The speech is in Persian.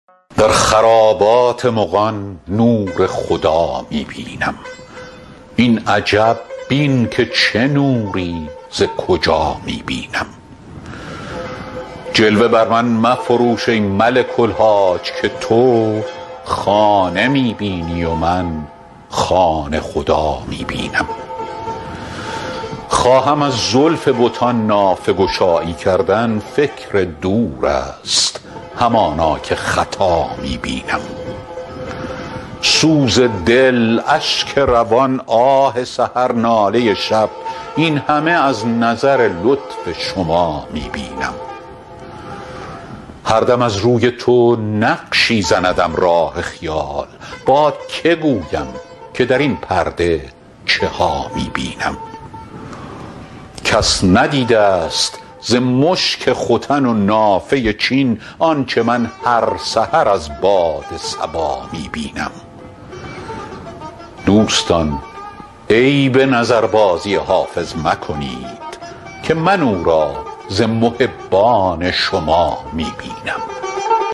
در خرابات مغان نور خدا می بینم این عجب بین که چه نوری ز کجا می بینم جلوه بر من مفروش ای ملک الحاج که تو خانه می بینی و من خانه خدا می بینم خواهم از زلف بتان نافه گشایی کردن فکر دور است همانا که خطا می بینم سوز دل اشک روان آه سحر ناله شب این همه از نظر لطف شما می بینم هر دم از روی تو نقشی زندم راه خیال با که گویم که در این پرده چه ها می بینم کس ندیده ست ز مشک ختن و نافه چین آنچه من هر سحر از باد صبا می بینم دوستان عیب نظربازی حافظ مکنید که من او را ز محبان شما می بینم